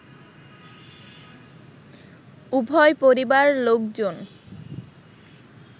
উভয় পরিবার লোকজন